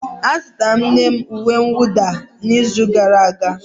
Azụtara m nne m uwe mwụda n'izu gara aga.